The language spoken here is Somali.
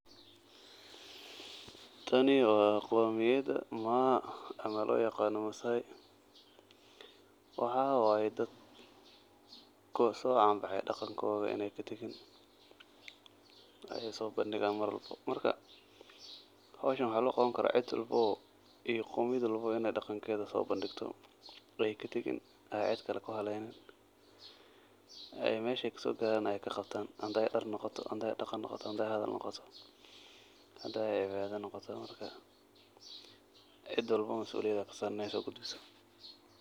Tani wa qomiyada Maa ama loyaqano Massai, waxa waye dad kusocanbaxay iney katagin daqankoda oo ey sobandigan marwalbo marka howshan waxa loqabte in ey cidwalbo iyo qomiyad walbo ey daqankeda sobandigte oo ey katagin oo an cid kale kuhaleynin oo meshey kasogaran kaqabta hadey dar noqoto hadey daqan noqoto marka cid walbo mas'uliyad aya kasaran.